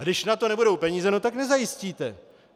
A když na to nebudou peníze, tak nezajistíte.